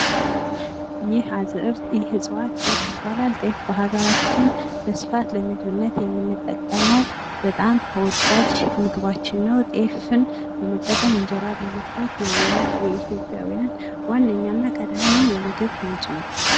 ይህ አዝእርት ይህ እጽዋት ጤፍ ይባላል። ጤፍ በሀገራችን በስፋት ለምግብነት የምንጠቀመው በጣም ተወዳጅ ምግባችን ነው። ጤፍን በመጠቀም እንጀራ በመስራት ይህ የኢትዮጵያውያን ዋነኛና ቀዳሚ የምግብ ምንጭ ነው።